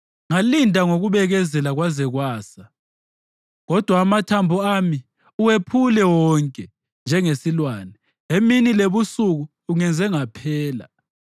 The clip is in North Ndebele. Ngalinda ngokubekezela kwaze kwasa, kodwa amathambo ami uwephule wonke njengesilwane; emini lebusuku ungenze ngaphela.